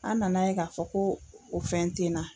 An nana ye k'a fɔ ko o fɛn te na.